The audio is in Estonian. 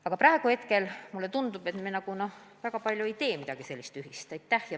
Aga praegu mulle tundub, et me midagi väga palju koos ei tee.